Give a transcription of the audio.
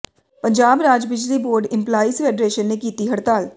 ਪੰਜਾਬ ਰਾਜ ਬਿਜਲੀ board employees federation ਨੇ ਕੀਤੀ ਹੜਤਾਲ